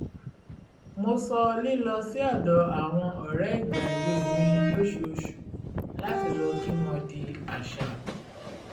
mo sọ lílọ sí ọ̀dọ̀ àwọn ọ̀rẹ́ ìgbà-èwe mi lóṣooṣù láti lọ kí wọn di àṣà